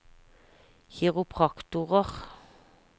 kiropraktorer